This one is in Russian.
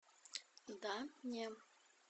да не